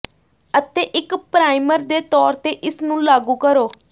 ਅਤੇ ਇੱਕ ਪਰਾਈਮਰ ਦੇ ਤੌਰ ਤੇ ਇਸ ਨੂੰ ਲਾਗੂ ਕਰੋ